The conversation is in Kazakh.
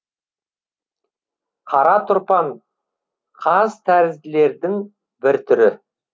қара тұрпан қазтәрізділердің бір түрі